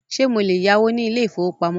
Ṣé mo lè yáwó ní ilé ìfọwọ́pamo?